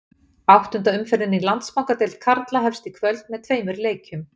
Áttunda umferðin í Landsbankadeild karla hefst í kvöld með tveimur leikjum.